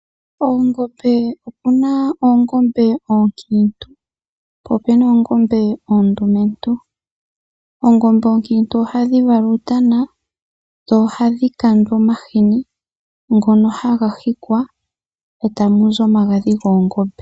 Oongombe opu na oongombe oonkiintu po opu na oongombe oondumentu. Oongombe oonkiintu ohadhi vala uutana dho ohadhi kandwa omahini ngono haga hikwa e tamu zi omagadhi goongombe.